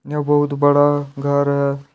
ये बहुत बड़ा घर है।